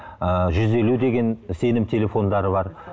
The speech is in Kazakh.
ы жүз елу деген сенім телефондары бар